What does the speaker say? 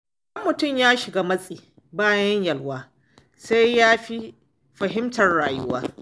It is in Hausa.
Idan mutum ya shiga matsi bayan yalwa, sai yafi fahimtar rayuwa.